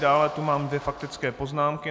Dále tu mám dvě faktické poznámky.